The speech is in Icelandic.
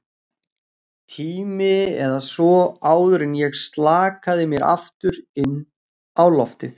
tíma eða svo, áður en ég slakaði mér aftur inn á loftið.